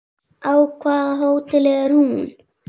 Á hvaða hóteli er hún?